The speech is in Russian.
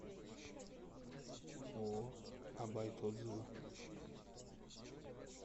ооо а байт отзывы